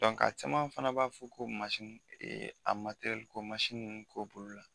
caman fana b'a fɔ ko ee a ko t'olu bolo la.